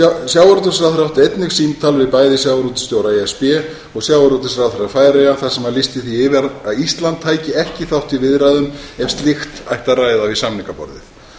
sjávarútvegsráðherra átti einnig símtal við bæði sjávarútvegsstjóra e s b og sjávarútvegsráðherra færeyja þar sem hann lýsti því yfir að ísland tæki ekki þátt í viðræðum ef slíkt ætti að ræða við samningaborðið